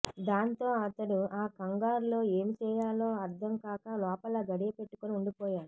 దాంతో అతడు ఆ కంగారులో ఏమి చేయాలో అర్థం కాక లోపల గడియ పెట్టుకుని ఉండిపోయాడు